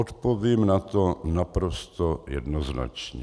Odpovím na to naprosto jednoznačně.